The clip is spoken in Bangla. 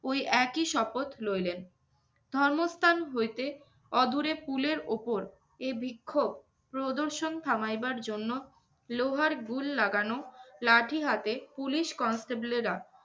ওই একই শপথ লইলেন। ধর্মস্থান হইতে অদূরে pool ওপর এ বিক্ষোভ প্রদর্শন থামাইবার জন্য লোহার গুল লাগানো লাঠি হাতে পুলিশ constable এরা